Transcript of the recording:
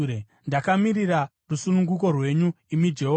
“Ndakamirira rusununguko rwenyu, imi Jehovha.